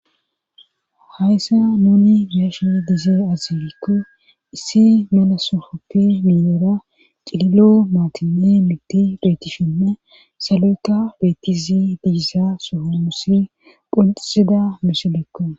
Hayssa nuni gashe dizee azilikko issi mela sofoppi milera ciilo maatine mitti deetishinne salu7uka beettisi digissa sofomusi phunxisida misilekko.